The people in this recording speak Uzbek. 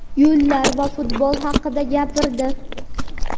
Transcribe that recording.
yo‘llar va futbol haqida gapirdi.